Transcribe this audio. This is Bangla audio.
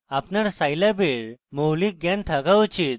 আপনার scilab এর মৌলিক জ্ঞান থাকা উচিত